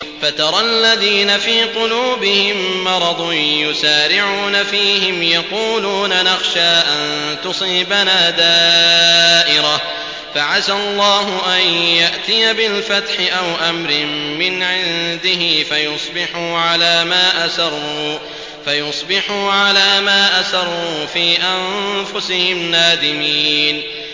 فَتَرَى الَّذِينَ فِي قُلُوبِهِم مَّرَضٌ يُسَارِعُونَ فِيهِمْ يَقُولُونَ نَخْشَىٰ أَن تُصِيبَنَا دَائِرَةٌ ۚ فَعَسَى اللَّهُ أَن يَأْتِيَ بِالْفَتْحِ أَوْ أَمْرٍ مِّنْ عِندِهِ فَيُصْبِحُوا عَلَىٰ مَا أَسَرُّوا فِي أَنفُسِهِمْ نَادِمِينَ